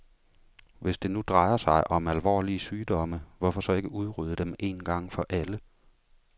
Hvis det nu drejer sig om alvorlige sygdomme, hvorfor så ikke udrydde dem en gang for alle.